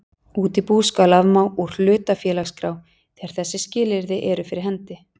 Útibú skal afmá úr hlutafélagaskrá þegar þessi skilyrði eru fyrir hendi